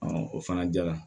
o fana jara